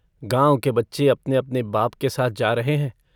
गाँव के बच्चे अपनेअपने बाप के साथ जा रहे हैं।